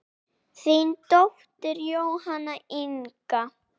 Þín dóttir Jóhanna Inga.